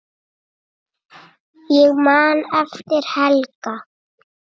Ég man eftir Helga.